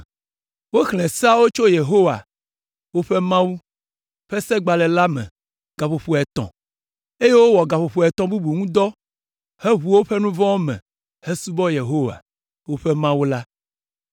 Woxlẽ Seawo tso Yehowa, woƒe Mawu, ƒe Segbalẽ la me gaƒoƒo etɔ̃, eye wowɔ gaƒoƒo etɔ̃ bubu ŋu dɔ heʋu woƒe nu vɔ̃wo me hesubɔ Yehowa, woƒe Mawu la.